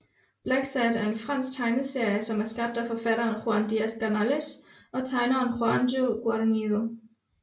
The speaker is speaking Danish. Blacksad er en fransk tegneserie som er skabt af forfatteren Juan Diaz Canales og tegneren Juanjo Guarnido